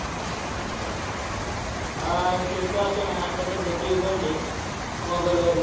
हा, IPL पाहतो ना. आता सध्या TV बंद आहे. mobile वरच.